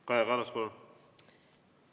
Kaja Kallas, palun!